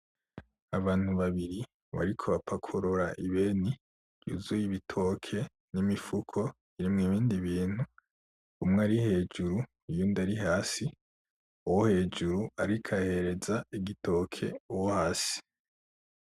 Abantu babiri bariko bapakurura ibeni yuzuye ibitoke n'imifuko irimwo ibindi bintu umwe ari hejuru uyundi ari hasi uwo hejuru ariko ahereza igitoke uwo hasi.